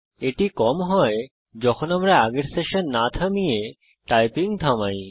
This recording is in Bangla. এটি কম হয় যখন আমরা আগের সেশন না থামিয়ে টাইপিং থামাই